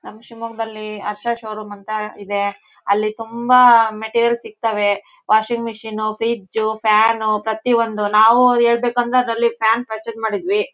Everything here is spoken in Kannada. ನಮ್ ಶಿಮೊಗ್ಗದಲ್ಲಿ ಹರ್ಷ ಶೋರೂಂ ಅಂತ ಇದೆ. ಅಲ್ಲಿ ತುಂಬಾ ಮೆಟಿರಿಯಲ್ಸ್ ಸಿಗ್ತಾವೆ. ವಾಶಿಂಗ್ ಮೆಶಿನು ಫ್ರಿಜ್ಜು ಫ್ಯಾನು ಪ್ರತಿಯೊಂದು. ನಾವು ಹೇಳಬೇಕಂದ್ರೆ ಅದ್ರಲ್ಲಿ ಫ್ಯಾನ್ ಪರ್ಚೆಸ್ ಮಾಡಿದ್ವಿ.